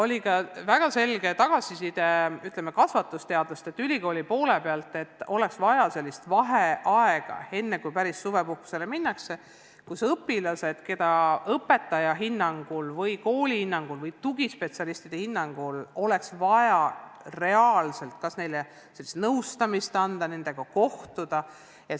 Lisaks saime väga selget tagasisidet ülikoolide kasvatusteadlastelt, et enne suvepuhkusele minemist oleks vaja sellist üleminekuaega, mille jooksul õpilased, keda õpetaja, kooli või tugispetsialistide hinnangul oleks vaja reaalselt kas nõustada või kellega oleks vaja kohtuda.